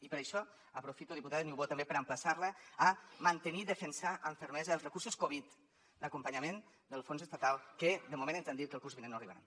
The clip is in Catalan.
i per això aprofito diputada niubó també per emplaçar la a mantenir i defensar amb fermesa els recursos covid d’acompanyament del fons estatal que de moment ens han dit que el curs vinent no arribaran